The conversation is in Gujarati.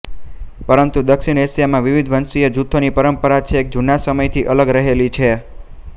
પરંતુ દક્ષિણ એશિયામાં વિવિધ વંશીય જૂથોની પરંપરા છેક જૂના સમયથી અલગ રહેલી છે